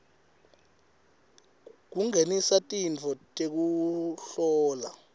kungenisa tintfo tekuhlola